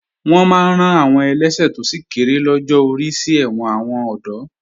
Wọ́n máa rán àwọn ẹlẹ́ṣẹ̀ tó sì kéré lọ́jọ́ orí sí ẹ̀wọ̀n àwọn ọ̀dọ́